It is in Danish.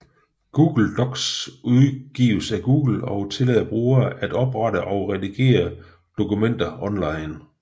Google Docs udgives af Google og tillader brugere at oprette og redigere dokumenter online